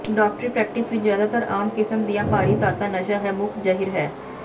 ਡਾਕਟਰੀ ਪ੍ਰੈਕਟਿਸ ਵਿਚ ਜ਼ਿਆਦਾਤਰ ਆਮ ਕਿਸਮ ਦੀਆਂ ਭਾਰੀ ਧਾਤਾਂ ਨਸ਼ਾ ਹੈ ਮੁੱਖ ਜ਼ਹਿਰ ਹੈ